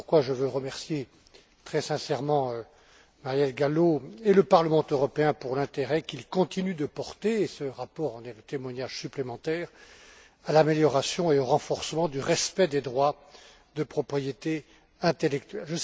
Voilà pourquoi je veux remercier très sincèrement Marielle Gallo et le Parlement européen pour l'intérêt qu'il continue de porter ce rapport en est le témoignage supplémentaire à l'amélioration et au renforcement du respect des droits de propriété intellectuelle.